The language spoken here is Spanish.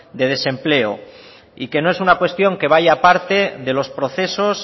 de desempleo y que no es una cuestión que vaya aparte de los procesos